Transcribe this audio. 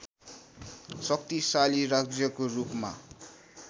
शक्तिशाली राज्यको रूपमा